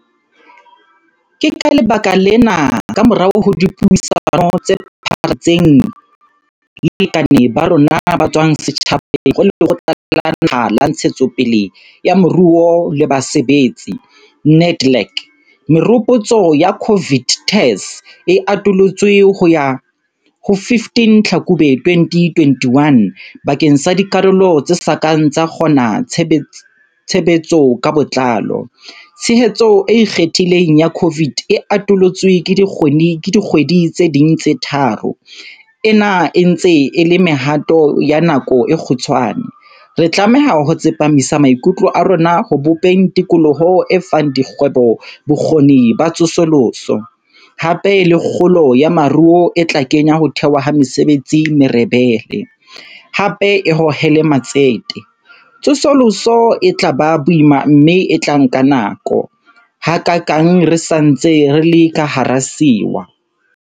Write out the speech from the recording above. Ke ka lebaka lena, kamorao ho dipuisano tse pharaletseng le balekane ba rona ba tswang setjhabeng ho Lekgotla la Naha la Ntshetsopele ya Moruo le Basebetsi, NEDLAC, meropotso ya COVID TERS e atolotswe ho ya ho 15 Tlhakubele 2021 bakeng sa dikarolo tse sa kang tsa kgona tshebetso ka botlalo. Tshehetso e ikgethileng ya COVID e atolotswe ka dikgwedi tse ding tse tharo. Ena e ntse e le mehato ya nako e kgutshwane. Re tlameha ho tsepamisa maikutlo a rona ho bopeng tikoloho e fang dikgwebo bokgoni ba tsosoloso, hape le kgolo ya moruo e tla kenya ho thewa ha mesebetsi merebele, hape e hohele matsete. Tsosoloso e tla ba boima mme e tla nka nako, hakaakang re sa ntse re le ka hara sewa.